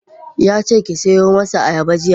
Yace ki siyo masa ayaba jiya.